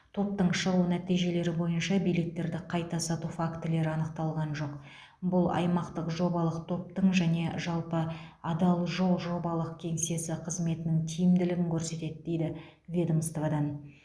топтың шығу нәтижелері бойынша билеттерді қайта сату фактілері анықталған жоқ бұл аймақтық жобалық топтың және жалпы адал жол жобалық кеңсесі қызметінің тиімділігін көрсетеді дейді ведомстводан